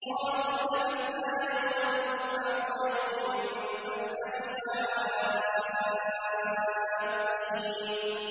قَالُوا لَبِثْنَا يَوْمًا أَوْ بَعْضَ يَوْمٍ فَاسْأَلِ الْعَادِّينَ